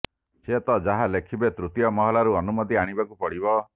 ସେ ତ ଯାହା ଲେଖିବେ ତୃତୀୟ ମହଲାରୁ ଅନୁମତି ଆଣିବାକୁ ପଡ଼ିବ